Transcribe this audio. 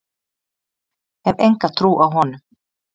Hef enga trú á honum.